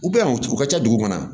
U bɛ yan u ka ca dugu kɔnɔ